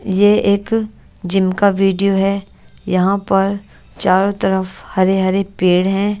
ये एक जिम का वीडियो है यहां पर चारों तरफ हरे-हरे पेड़ हैं।